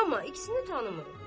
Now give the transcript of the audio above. Amma ikisini tanımırıq.